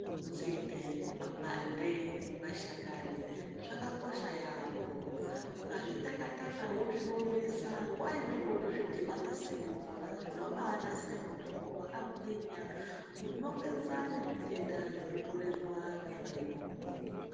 Nzinde, makwande, mashakani zvakakosha yaamho ukazvitaka-taka wozviomesa nguva imweni wozvidhibanisa nemvura, zvinobaanasire mutombo wakagwinya, unopedza nezvitenda zvinokorerwa nevayungu